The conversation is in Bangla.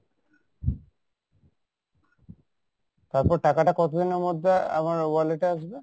তারপর টাকা টা কত দিনের মধ্যে আমার wallet এ আসবে?